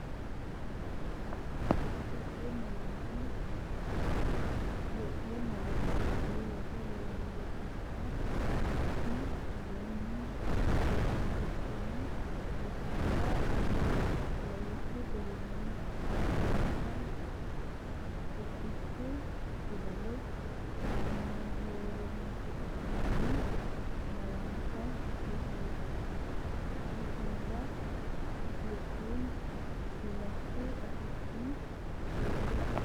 Itophiyu Malaatu Afii Roso Rosiishsha Mite Aleenni shiqi’ne rosira uyini’ne lawishshi garinni affinoonnita qubbichu fidale kamahohoroonsi’ratenni malaatta rosiisaanchi’nera Itophiyu laatu afiinni leellishshe.